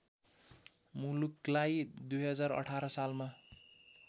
मुलुकलाई २०१८ सालमा